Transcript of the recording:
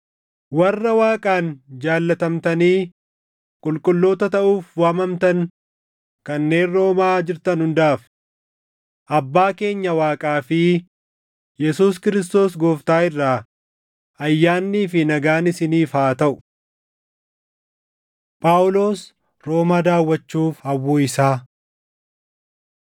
Warra Waaqaan jaallatamtanii qulqulloota taʼuuf waamamtan kanneen Roomaa jirtan hundaaf: Abbaa keenya Waaqaa fi Yesuus Kiristoos Gooftaa irraa ayyaannii fi nagaan isiniif haa taʼu. Phaawulos Roomaa Daawwachuuf Hawwuu Isaa